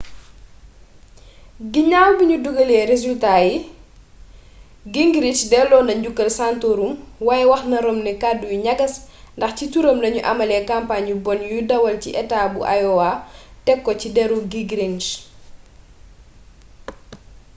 ginaaw bi ñu dugalee resultat yi gingrich delloo na njukkal santorum waaye waxna romney kàddu yu ñagas ndax ci turam lañu amalee campagne yu bon yu dawal ci etaa bu iowa teg ko ci deru gingrich